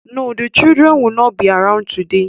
No, the children will not be around today